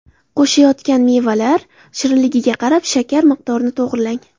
Qo‘shayotgan mevalar shirinligiga qarab shakar miqdorini to‘g‘rilang.